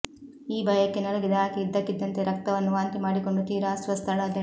ಈ ಭಯಕ್ಕೆ ನಲುಗಿದ ಆಕೆ ಇದ್ದಕ್ಕಿದ್ದಂತೆ ರಕ್ತವನ್ನು ವಾಂತಿ ಮಾಡಿಕೊಂಡು ತೀರಾ ಅಸ್ವಸ್ಥಳಾದಳು